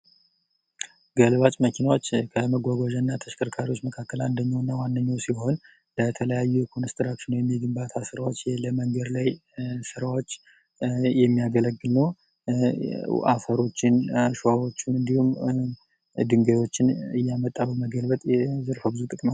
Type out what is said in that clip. ገልባጭ መኪናዎች ከመጓጓዣ እና ተሽከርካሪዎች ውስት አንደኞቹ ሲሆኑ ለተለየዩ ኮንስትራክሽን እና ግንባታ ስራዎች እና መንገድ ላይ ስራዎች የሚያገለግሉ ሲሆን አፈሮችን፣ አሸዋወችን እንዲሁም ሌሎችን እያመጣን ለመገልበጥ ነው።